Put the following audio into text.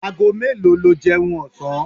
Ago melo lo jeun osan?